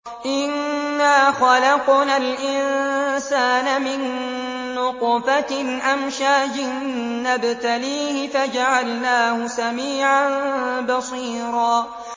إِنَّا خَلَقْنَا الْإِنسَانَ مِن نُّطْفَةٍ أَمْشَاجٍ نَّبْتَلِيهِ فَجَعَلْنَاهُ سَمِيعًا بَصِيرًا